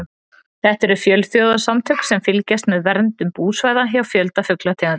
Þetta eru fjölþjóðasamtök sem fylgjast með verndun búsvæða hjá fjölda fuglategunda.